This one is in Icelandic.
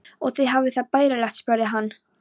Og þið hafið það bærilegt? spurði hann.